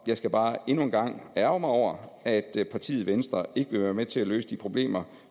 skal bare endnu en gang ærgre mig over at partiet venstre ikke vil være med til at løse de problemer